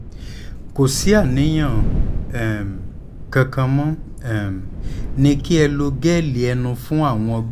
kò sí àníyàn um kankanmo um ní kí ẹ lo gẹ́lì ẹnu fún àwọn ọgbẹ́